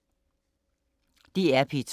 DR P2